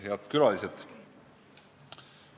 Head külalised!